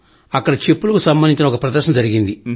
అక్కడ చెప్పులకు సంబంధించిన ఒక ప్రదర్శన జరిగింది